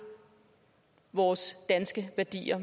vores danske værdier